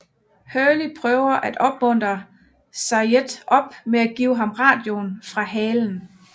Hurley prøver at opmuntre Sayid op med at give ham radioen fra halen